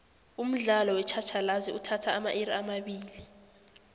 umdlalo wetjhatjhalazi uthatha amairi amabili